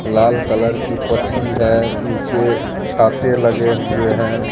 लाल colour की पट्टी है नीचे छाते लगे हुए हैं।